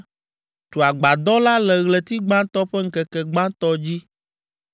“Tu agbadɔ la le ɣleti gbãtɔ ƒe ŋkeke gbãtɔ dzi.